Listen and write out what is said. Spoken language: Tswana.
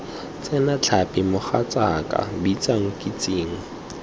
tsena tlhapi mogatsaaka bitsa nkitsing